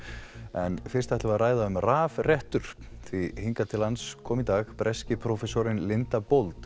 en fyrst ætlum við að ræða um rafrettur því hingað til lands kom í dag breski prófessorinn Linda